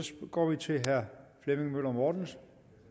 går vi til herre flemming møller mortensen